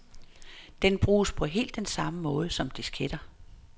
Den bruges på helt den samme måde som disketter.